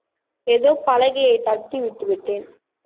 ஏதோ பலகையை தட்டி விட்டு விட்டேன்